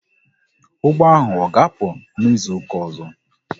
Ụgbọ ahụ ọ ga-apụ n'izuka ọzọ?